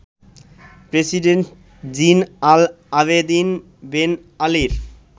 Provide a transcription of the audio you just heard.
president Zine El Abidine Ben আলির